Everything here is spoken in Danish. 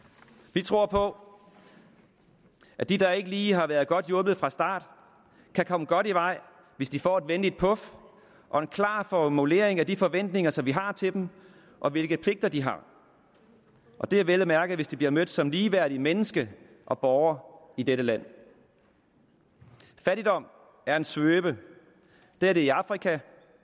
vi tror på at de der ikke lige har været godt hjulpet fra start kan komme godt i vej hvis de får et venligt puf og en klar formulering af de forventninger som vi har til dem og af hvilke pligter de har det er vel og mærke hvis de bliver mødt som ligeværdige mennesker og borgere i dette land fattigdom er en svøbe det er det i afrika